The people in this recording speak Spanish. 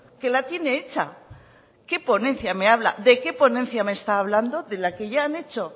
que la tiene hecha qué ponencia me habla de qué ponencia me está hablando de la que ya han hecho